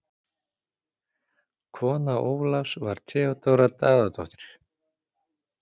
Kona Ólafs var Theódóra Daðadóttir.